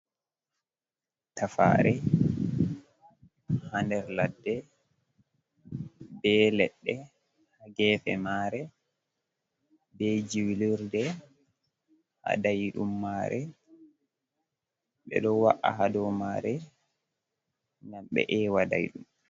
Tafare ha nder laɗɗe. Be leɗɗe ha gefe mare. Be julurɗe ha daidum mare. Be ɗoo wa’a ha ɗo mare ngam be eewa daiɗum.